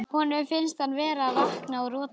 Honum finnst hann vera að vakna úr roti.